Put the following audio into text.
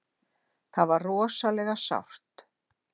Það var rosalega sárt.